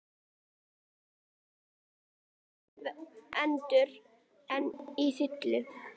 Drumburinn gerði tvær atrennur enn að þilinu.